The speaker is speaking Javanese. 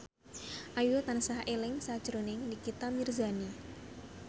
Ayu tansah eling sakjroning Nikita Mirzani